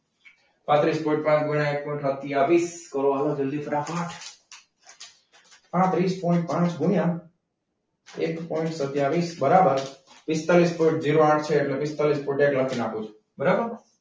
પાત્રીસ પોઇન્ટ પાંચ ગુણ્યા એક પોઈન્ટ સત્તાવીસ કરો કરો જલ્દી ફટાફટ. પાત્રીસ પોઇન્ટ પાંચ ગુણ્યા એક પોઈન્ટ સત્તાવીસ બરાબર પિસ્તાળીસ પોઈન્ટ જેરો આઠ છે એટ્લે પિસ્તાળીસ પોઈન્ટ એક લખી નાખું છું. બરાબર?